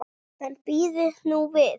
En bíðið nú við.